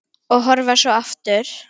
Og horfa svo aftur.